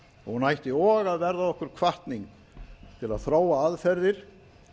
hún ætti og að verða okkur hvatning til að þróa aðferðir